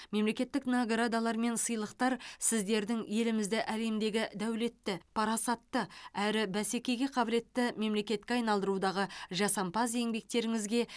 мемлекеттік наградалар мен сыйлықтар сіздердің елімізді әлемдегі дәулетті парасатты әрі бәсекеге қабілетті мемлекетке айналдырудағы жасампаз еңбектеріңізге